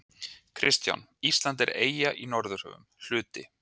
KRISTJÁN: Ísland er eyja í Norðurhöfum, hluti